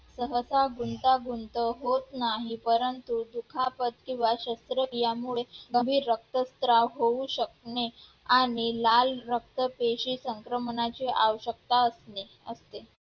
सहसा गुंतागुंत होत नाही परंतु दुखापत किंवा शस्त्रक्रिया यामुळे कमी रक्तस्त्राव होऊ शकणे आणि लाल रक्तपेशी संक्रमणाची आवश्यकता असणे